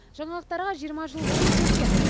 жаңалықтарға жиырма жыл бұрын келген